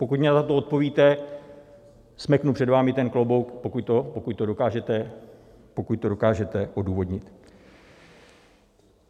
Pokud mi na to odpovíte, smeknu před vámi ten klobouk, pokud to dokážete, pokud to dokážete odůvodnit.